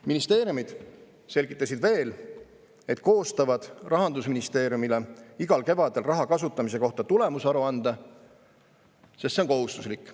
Ministeeriumid selgitasid veel, et koostavad Rahandusministeeriumile igal kevadel raha kasutamise kohta tulemusaruande, sest see on kohustuslik.